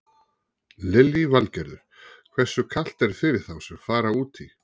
Lillý Valgerður: Hversu kalt er fyrir þá sem fara út í?